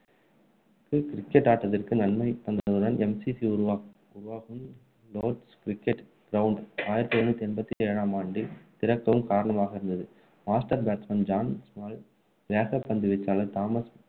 cricket ஆட்டத்திற்கு நன்மை நன்மை தந்ததுடன் MCC உருவாகவும் லோர்ட்ஸ் cricket கிரௌண்ட் ஆயிரத்து எழுநூற்று எண்பத்து ஏழாம் ஆண்டில் திறக்கவும் காரணமாக இருந்தது master batsman ஜான் ஸ்மால் வேகப்பந்து வீச்சாளர் தாமஸ்